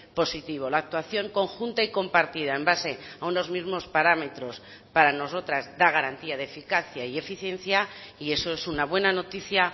positivo la actuación conjunta y compartida en base a unos mismos parámetros para nosotras da garantía de eficacia y eficiencia y eso es una buena noticia